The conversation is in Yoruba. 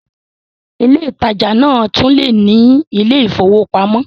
Ilé ìtajà lè náà tún lè ní ilé ìfowópamọ́